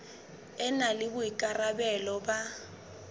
e na le boikarabelo ba